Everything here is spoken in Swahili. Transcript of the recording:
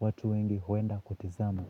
watu wengi huenda kutizama.